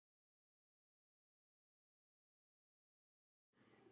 Hann ætlaði alltaf að setja hann í fjær.